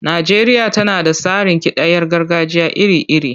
Najeriya tana da tsarin kidayar gargajiya iri-iri.